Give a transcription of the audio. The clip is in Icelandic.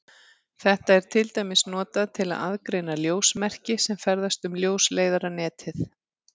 Þetta er til dæmis notað til að aðgreina ljósmerki sem ferðast um ljósleiðaranetið.